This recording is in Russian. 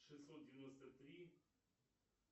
шестьсот девяносто три